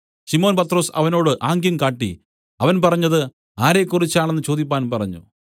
ശിമോൻ പത്രൊസ് അവനോട് ആംഗ്യം കാട്ടി അവൻ പറഞ്ഞത് ആരെക്കുറിച്ച് എന്നു ചോദിപ്പാൻ പറഞ്ഞു